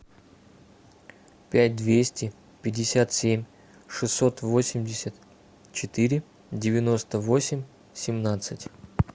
пять двести пятьдесят семь шестьсот восемьдесят четыре девяносто восемь семнадцать